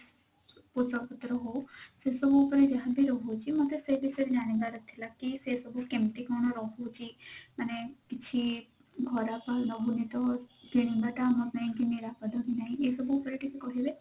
ପଇସା ପତ୍ର ହଉ ସେସବୁ ଉପରେ ଯାହା ବି ରହୁଛି ମୋତେ ସେ ବିଷୟରେ ଜାଣିବାର ଥିଲା କି ସେ ସବୁ କେମତି କଣ ରହୁଛି ମାନେ କିଛି ଖରାପ ରହୁନି ତ କିଣିବା ଟା ଆମ ପାଇଁ ନିରାପଦ କି ନାହିଁ ଏସବୁ ଉପରେ ଟିକେ କହିଲେ।